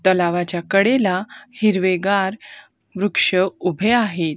तलावाच्या कडेला हिरवेगार वृक्ष उभे आहेत.